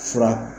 Fura